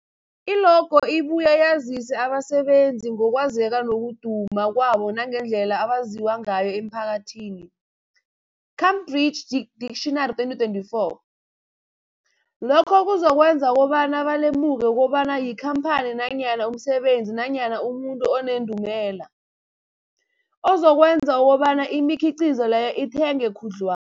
I-logo ibuye yazise abasebenzisi ngokwazeka nokuduma kwabo nangendlela abaziwa ngayo emphakathini, Cambridge Dictionary 2024. Lokho kuzokwenza kobana balemuke kobana yikhamphani nanyana umsebenzi nanyana umuntu onendumela, okuzokwenza kobana imikhiqhizo leyo ithengwe khudlwa